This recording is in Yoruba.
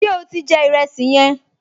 Ṣé o ti jẹ ìrẹsì yẹn?